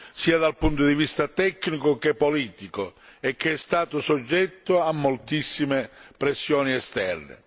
sia dal punto di vista tecnico che politico, e che è stato soggetto a moltissime pressioni esterne.